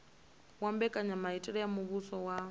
wa mbekanyamaitele ya muvhuso wa